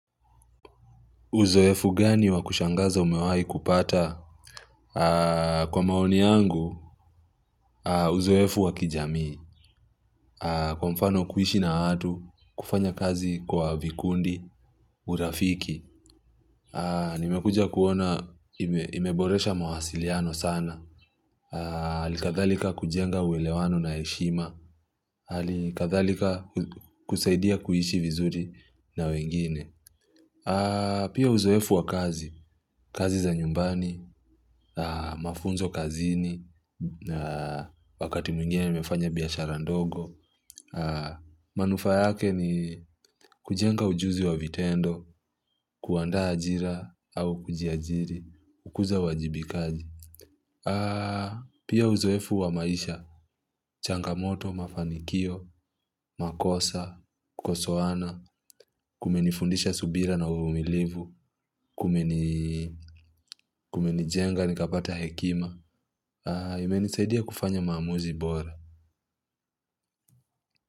Uzoefu gani wakushangaza umewahi kupata? Kwa maoni yangu, uzoefu wakijamii. Kwa mfano kuishi na watu, kufanya kazi kwa vikundi, urafiki. Nimekuja kuona imeboresha mawasiliano sana. Alikathalika kujenga uelewano na heshima. Alikathalika kusaidia kuhishi vizuri na wengine. Pia uzoefu wa kazi, kazi za nyumbani, mafunzo kazini, wakati mwingine nimefanya biashara ndogo. Manufaa yake ni kujenga ujuzi wa vitendo, kuandaa ajira au kujiajiri, ukuza uajibikaji. Pia uzoefu wa maisha, changamoto, mafanikio, makosa, kukosoana, kumenifundisha subira na uvumilivu. Kumenijenga, nikapata hekima imenisaidia kufanya maamuzi bora.